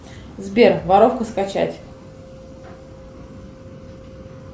сбер воровка скачать